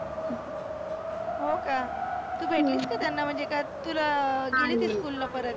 हो का? हम्म तु भेटलीस का त्यांना म्हणजे काय तुला school ला परत.